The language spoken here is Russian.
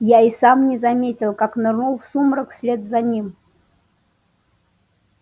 я и сам не заметил как нырнул в сумрак вслед за ним